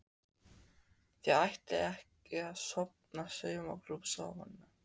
Þið ætlið ekkert að stofna saumaklúbb saman?